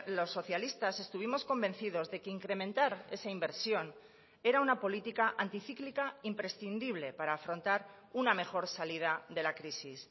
los socialistas estuvimos convencidos de que incrementar esa inversión era una política anti cíclica imprescindible para afrontar una mejor salida de la crisis